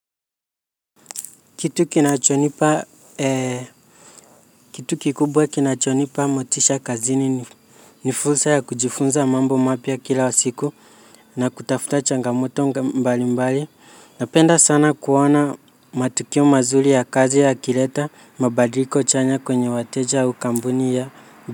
Kitu kikubwa kinachonipa motisha kazini ni fursa ya kujifunza mambo mapya kila siku na kutafuta changamoto mbali mbali napenda sana kuona matukio mazuri ya kazi yakileta mabadiliko chanya kwenye wateja wa kampuni ya.